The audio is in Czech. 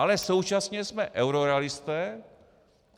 Ale současně jsme eurorealisté.